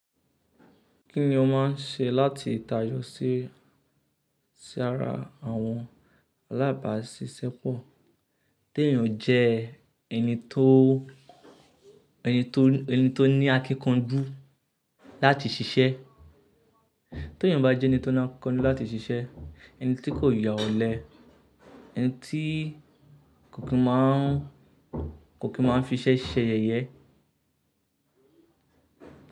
Kí ni o máa ń ṣe láti tayọ sí ara àwọn alábàáṣiṣẹ́pọ̀? Ti èèyàn jẹ ẹni tó, ẹni tó, ẹni tó ní akíkanjú láti ṣiṣẹ́. Ti èèyàn bá jẹ́ ẹni tó ní akíkanjú láti ṣiṣẹ́, ẹni tí kò yà olé, ẹni tí kò kí máa ń, kò kí máa ń fi iṣẹ́ ṣẹ yẹyẹ.